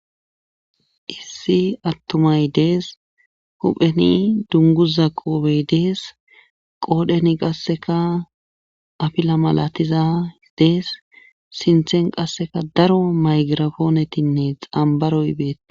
issi attumay dees hupheni dunguza qoope yidees qoodheni qasseka afila malatizadees sinthen qasseka daro maygirafoonetinne xambaroy beettes